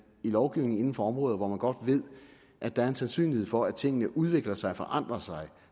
i lovgivning inden for områder hvor man godt ved at der er sandsynlighed for at tingene udvikler sig forandrer sig